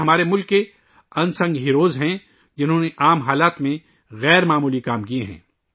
یہ ہمارے ملک کے غیر معروف ہیرو ہیں، جنہوں نے عام حالات میں غیر معمولی کام کئے ہیں